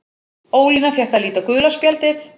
Ólína fékk að líta gula spjaldið.